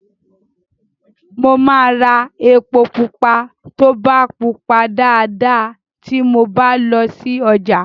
Mo máa ra èpo pupa tó bá pupa dáadáa ti mo bá lọ sí ọjà.